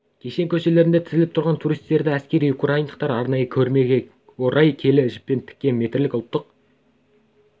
кешен көшелерінде тізіліп тұрған туристерді әсіресе украиндықтардың арнайы көрмеге орай келі жіптен тіккен метрлік ұлттық